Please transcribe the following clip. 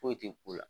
Foyi tɛ ko la